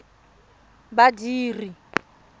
badiri